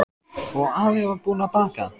Og afi var búinn að baka.